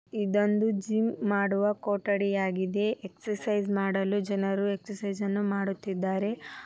ಇದೊಂದು ಜಿಮ್ ಮಾಡುವ ಕೊಟ್ಟಡಿಯಾಗಿದೆ. ಎಕ್ಸರ್ಸೈಜ್ ಮಾಡಲು ಜನರು ಎಕ್ಸಸೈಜ್ ಮಾಡುತ್ತಿದ್ದಾರೆ.